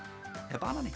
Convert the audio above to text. er